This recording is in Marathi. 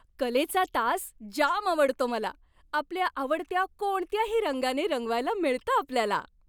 कलेचा तास जाम आवडतो मला. आपल्या आवडत्या कोणत्याही रंगाने रंगवायला मिळतं आपल्याला.